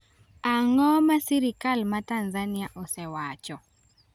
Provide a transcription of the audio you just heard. Ang’o ma sirkal mar Tanzania osewacho?